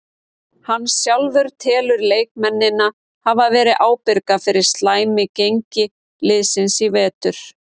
Hann sjálfur telur leikmennina hafa verið ábyrga fyrir slæmi gengi liðsins í vetur.